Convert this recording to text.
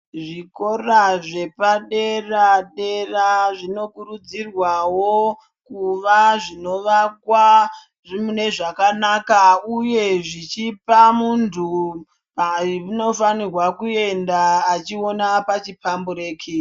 Zvikora zvepa dera dera zvino kurudzirwawo kuva zvino vakwa mune zvakanaka uye zvichipa muntu anofanirwa kuenda achiona pachi pambureki.